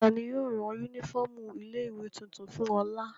Ta ni yóò rán únífọ́ọ́mù ilé-ìwé tuntun fún Ọlà?